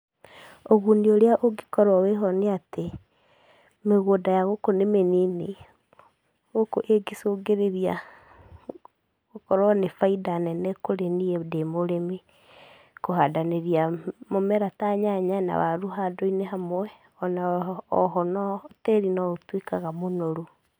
Ũguni ũrĩa ũngĩkorwo wĩho nĩatĩ, mĩgũnda ya gũkũ nĩ mĩnini, gũkũ ĩngĩcũngĩrĩria gũkorwo nĩ baida nene kũrĩ niĩ ndĩ mũrĩmi, kũhandanĩria mũmera ta nyanya na waru handũ-inĩ hamwe, ona oho no tĩri no ũtuĩkaga mũnoru.